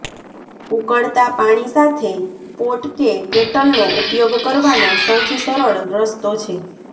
ઉકળતા પાણી સાથે પોટ કે કેટલનો ઉપયોગ કરવાનો સૌથી સરળ રસ્તો છે